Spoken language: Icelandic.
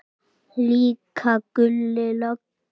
Líka Gulli lögga.